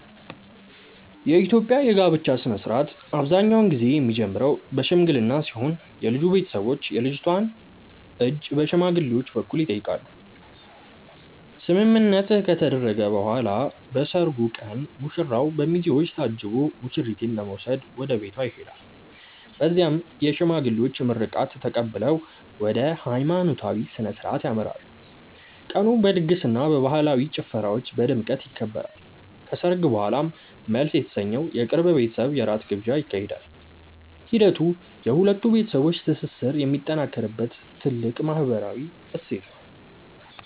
የኢትዮጵያ የጋብቻ ሥነ ሥርዓት አብዛኛውን ጊዜ የሚጀምረው በሽምግልና ሲሆን የልጁ ቤተሰቦች የልጅቷን እጅ በሽማግሌዎች በኩል ይጠይቃሉ። ስምምነት ከተደረሰ በኋላ በሰርጉ ቀን ሙሽራው በሚዜዎች ታጅቦ ሙሽሪትን ለመውሰድ ወደ ቤቷ ይሄዳል። በዚያም የሽማግሌዎች ምርቃት ተቀብለው ወደ ሃይማኖታዊ ሥነ ሥርዓት ያመራሉ። ቀኑ በድግስና በባህላዊ ጭፈራዎች በድምቀት ይከበራል። ከሰርግ በኋላም መልስ የተሰኘው የቅርብ ቤተሰብ የራት ግብዣ ይካሄዳል። ሂደቱ የሁለት ቤተሰቦች ትስስር የሚጠናከርበት ትልቅ ማህበራዊ እሴት ነው።